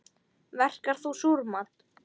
Verkar þú súrmat?